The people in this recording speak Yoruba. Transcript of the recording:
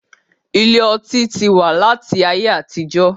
Ilé ọtí tí wá láti ayé àtijó